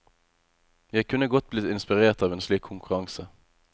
Jeg kunne godt blitt inspirert av en slik konkurranse.